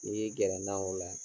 Ni n y'i gɛrɛ na o la